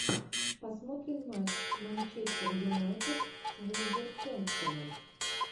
посмотрим матч манчестер юнайтед с вулверхэмптоном